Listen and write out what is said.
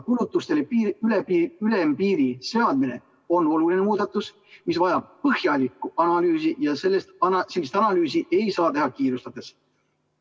Kulutustele ülempiiri seadmine on oluline muudatus, mis vajab põhjalikku analüüsi, ja sellist analüüsi ei saa teha kiirustades.